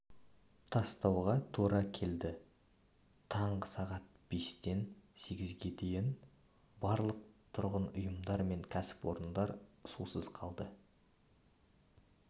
тастауға тура келді таңғы сағат бестен сегізге дейін барлық тұрғын ұйымдар мен кәсіпорындар сусыз қалды